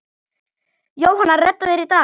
Jóhanna: Redda þér í dag?